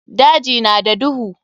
Daji na da duhu.